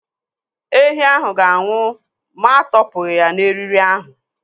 Ehi ahụ ga-anwụ ma atọ pụghị n'eriri ahụ.